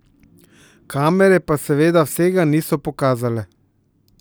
Kamere pa seveda vsega niso pokazale.